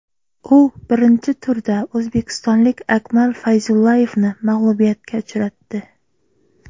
U birinchi turda o‘zbekistonlik Akmal Fayzullayevni mag‘lubiyatga uchratdi.